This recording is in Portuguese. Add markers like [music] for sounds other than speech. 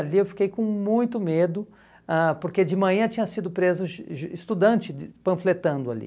Ali eu fiquei com muito medo, ãh porque de manhã tinha sido preso [unintelligible] estudante panfletando ali.